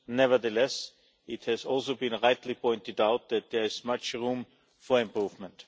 Nevertheless, it has also been rightly pointed out that there is much room for improvement.